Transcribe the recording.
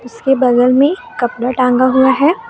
इसके बगल में कपड़ा टांगा हुआ है।